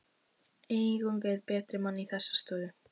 Eigum við betri mann í þessa stöðu?